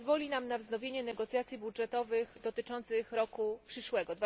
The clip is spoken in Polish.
pozwoli nam na wznowienie negocjacji budżetowych dotyczących roku przyszłego